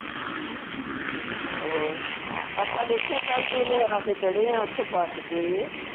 ਹੋਰ ਆਪਾ ਦੇਖਿਆ ਕੱਲ ਇਲਾਕੇ ਚੜੇ ਆ ਉਥੋਂ ਬੱਸ ਤੇ